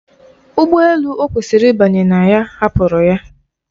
Ụgbọ elu o kwesịrị ịbanye na ya hapụrụ ya.